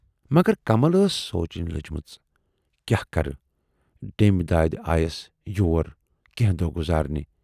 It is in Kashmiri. مگرکمل ٲس سونٛچنہِ لٔجمژ"کیاہ کرٕ، ڈیمبۍ دٲدِ آیے یَس یور کینہہ دۅہ گُذارنہِ۔